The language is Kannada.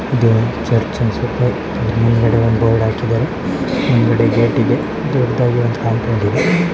ಇದು ಒಂದ್ ಚರ್ಚ್ ಅನ್ಸುತ್ತೆ ಇದ್ರ್ ಹಿಂದೆ ಒಂದು ಬೋರ್ಡ್ ಹಾಕಿದರೆ ಹಿಂದ್ ಗಡೆ ಗೇಟ್ ಇದೆ ದೊಡ್ ದಾಗ್ ಒಂದ್ ಕಾಂಪೋಂಡ್ ಇದೆ .